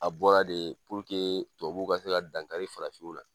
A bɔra de tubabu ka se dankari farafinw na.